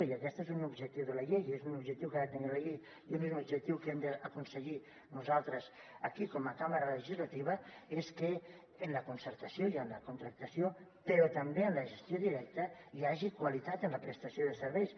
i aquest és un objectiu de la llei és un objectiu que ha de tenir la llei i és un objectiu que hem d’aconseguir nosaltres aquí com a cambra legislativa és que en la concertació i en la contractació però també en la gestió directa hi hagi qualitat en la prestació de serveis